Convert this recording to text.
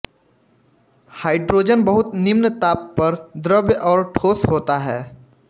hydrogen बहुत निम्न ताप पर द्रव और ठोस होता है